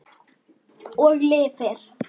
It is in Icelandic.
Og lifir.